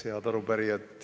Head arupärijad!